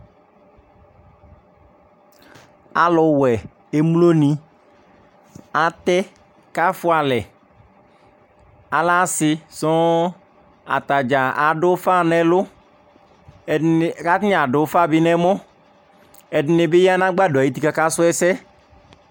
Alʊwɛ emloni Atɛ kʊ afoalɛ Alɛ asi sɔɔ Atadza adʊ ʊfa nʊ alʊ Kʊ atanɩ dʊ ʊfa bi nɛ ɛmɔ Ɛdɩnɩ bi ya nʊ agbadɔ ayu uti kʊ akasʊ ɛsɛ